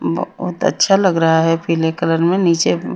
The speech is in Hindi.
बहोत अच्छा लग रहा है पिले कलर में नीचे--